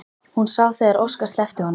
Hún sá þegar Óskar sleppti honum.